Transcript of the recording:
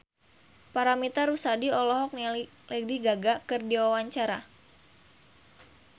Paramitha Rusady olohok ningali Lady Gaga keur diwawancara